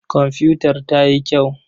Komfutar ta yi kyau.